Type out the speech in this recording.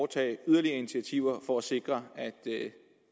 tage yderligere initiativer for at sikre at det